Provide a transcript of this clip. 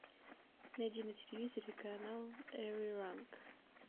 найди на телевизоре канал эри ранг